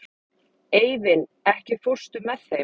Eivin, ekki fórstu með þeim?